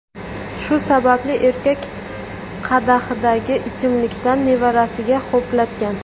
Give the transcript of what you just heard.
Shu sababli erkak qadahidagi ichimlikdan nevarasiga ho‘platgan.